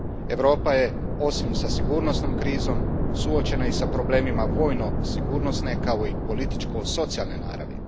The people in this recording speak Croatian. Europa je, osim sa sigurnosnom krizom, suočena i s problemima vojno sigurnosne kao i političko socijalne naravi.